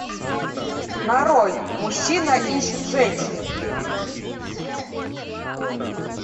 нарой мужчина ищет женщину